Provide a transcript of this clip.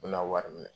U bɛna wari minɛ